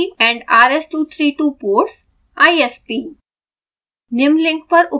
usb & rs232 ports isp